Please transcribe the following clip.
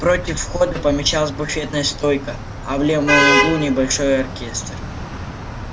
против входа помещалась буфетная стойка а в левом углу небольшой оркестр